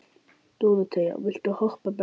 Dóróthea, viltu hoppa með mér?